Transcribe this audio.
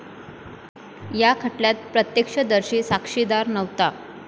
या खटल्यात प्रत्यक्षदर्शी साक्षीदार नव्हता.